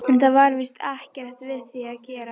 En það var víst ekkert við því að gera.